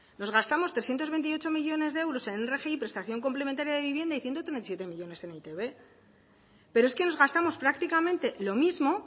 nos gastamos trescientos veintiocho millónes de euros en rgi y prestación complementaria de vivienda y ciento treinta y siete millónes en eitb pero es que nos gastamos prácticamente lo mismo